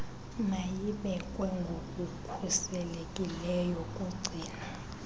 mayibekwe ngokukhuselekileyo kugcino